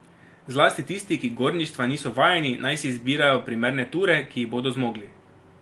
Zlasti tisti, ki gorništva niso vajeni, naj si izbirajo primerne ture, ki jih bodo zmogli.